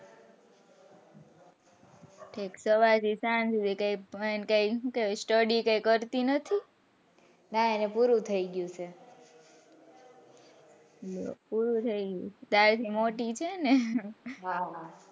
સવારથી સાંજ અને ભણતી કે study કઈ કરતી નથી ના એને પૂરું થઇ ગયું છે પૂરું થઇ ગયું તાર થી મોટી છે ને હા.